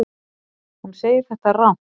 Hún segir þetta rangt.